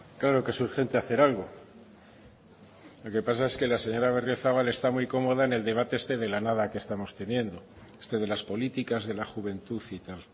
claro que es urgente hacer algo lo que pasa es que la señora berriozabal está muy cómoda en el debate este de la nada que estamos teniendo este de las políticas de la juventud y tal